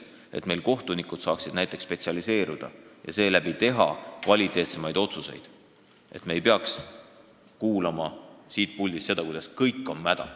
Kui meie kohtunikud saaksid spetsialiseeruda, siis teeksid nad kvaliteetsemaid otsuseid ja me ei peaks kuulama siit puldist juttu, et kõik on mäda.